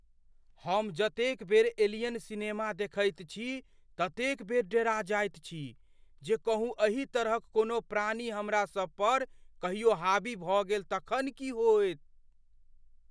हम जतेक बेर "एलियन" सिनेमा देखैत छी ततेक बेर डेरा जाइत छी, जे कहूँ अही तरहक कोनो प्राणी हमरा सब पर कहियो हावी भऽ गेल तखन की होयत?